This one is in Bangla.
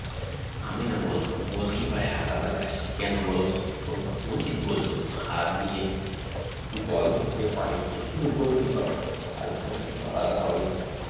আমিনা বলল goalkeeper -এর আলাদা jersey কেন বলোতো মজিদ বলল হাত দিয়ে বল ধরতে পারে কে শুধু goalkeeper তার পোশাক তো আলাদা হবেই